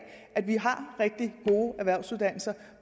at vi har rigtig gode erhvervsuddannelser